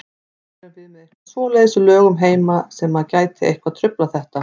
Erum við með eitthvað svoleiðis í lögum heima sem að gæti eitthvað truflað þetta?